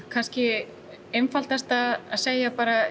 kannski einfaldast að segja bara